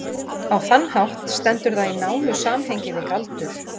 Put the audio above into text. á þann hátt stendur það í nánu samhengi við galdur